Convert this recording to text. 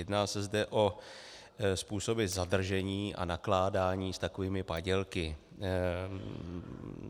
Jedná se zde o způsoby zadržení a nakládání s takovými padělky.